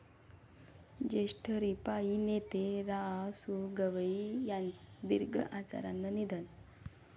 ज्येष्ठ रिपाइं नेते रा.सु.गवई यांचं दीर्घ आजारानं निधन